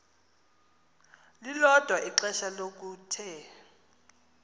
lilodwa ixesha lokuthe